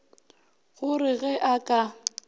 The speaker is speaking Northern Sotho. go re ge a ka